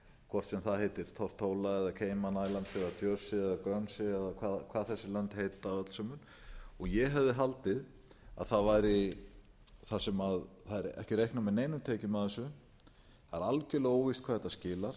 hvort sem það heitir tortóla eða cayman islands eða jersey eða eða hvað þessi lönd heita öll sömul ég hefði haldið að þar sem það er ekki reiknað með neinum tekjum af þessu það er algjörlega óvíst hverju þetta skilar